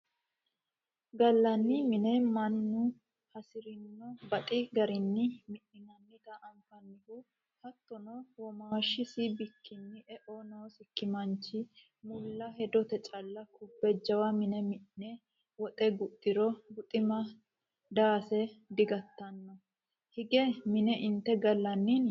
Gallani mina mannu hasirinna baxi garinni mi'nannati anfannihu hattono womaashisi bikkini eo noosikki manchi mulla hedote calla kubbe jawa mine mi'ne woxe guxiro buxima daase digattano hige mine inte gallaninni.